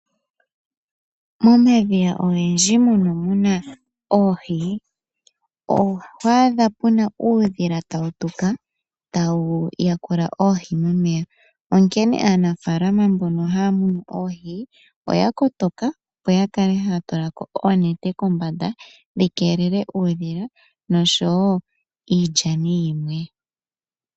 Momadhiya ogendji mono muna oohi oho adha puna uudhila tawu tuka tawu yakula oohi momeya onkene aanafaalama mbono haya munu oohi oya kotoka opo yakale haya tulako oonete kombanda dhi keelele uudhila noshowo iilyani yilwe.